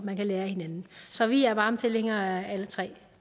lære af hinanden så vi er varme tilhængere af alle tre